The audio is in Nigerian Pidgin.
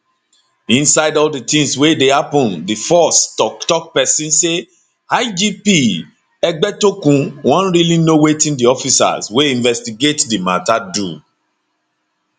inside all di tins wey dey happun di force toktok pesin say igp egbetokun wan really know wetin di officers wey investigate do mata do